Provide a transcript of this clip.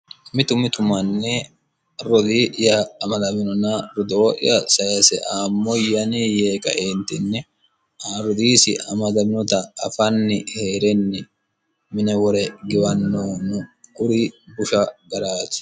mitu mitu manni rodii'ya amadaminona rodoo'ya sayse eemmoya yanni yee ka'eentinni rodoosi amadaminota afanni hee'renni mine wore giwannohu no kuri busha garaati